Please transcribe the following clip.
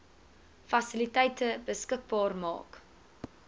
fasiliteite beskikbaar maak